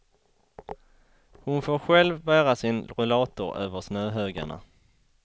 Hon får själv bära sin rullator över snöhögarna.